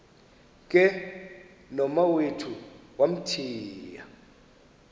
ke nomawethu wamthiya